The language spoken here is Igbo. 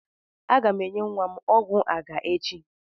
Aga m enye nwa m ọgwụ àgá echi.